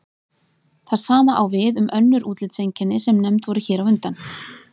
það sama á við um önnur útlitseinkenni sem nefnd voru hér á undan